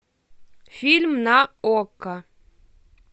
фильм на окко